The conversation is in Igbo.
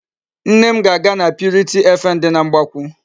Nne m ga-aga na purity FM dị na Mgbakwụ.